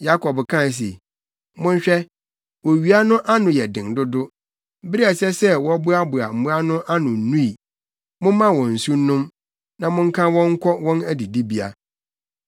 Yakob kae se, “Monhwɛ. Owia no ano yɛ den dodo. Bere a ɛsɛ sɛ wɔboaboa mmoa no ano nnui. Momma wɔn nsu nnom, na monka wɔn nkɔ wɔn adidibea.”